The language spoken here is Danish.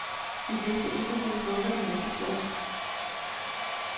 Vi vidste ikke helt, hvorfor den er så flot.